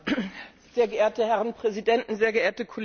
Sehr geehrte Herren Präsidenten, sehr geehrte Kollegen!